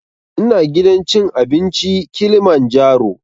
Ina gidan cin abinci kilimanjaro